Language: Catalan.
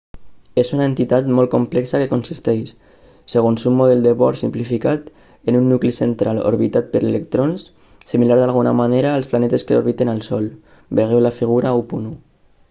és una entitat molt complexa que consisteix segons un model de bohr simplificat en un nucli central orbitat per electrons similar d'alguna manera als planetes que orbiten el sol vegeu la figura 1.1